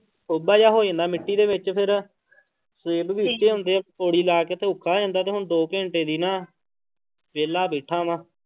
ਟੋਭਾ ਜਿਹਾ ਹੋ ਜਾਂਦਾ ਮਿੱਟੀ ਦੇ ਵਿੱਚ ਫਿਰ ਸੇਬ ਵੀ ਉੱਚੇ ਹੁੰਦੇ ਆ, ਪੌੜੀ ਲਾ ਕੇ ਤੇ ਔਖਾ ਹੋ ਜਾਂਦਾ ਤੇ ਹੁਣ ਦੋ ਘੰਟੇ ਦੀ ਨਾ ਵਿਹਲਾ ਬੈਠਾ ਵਾਂ।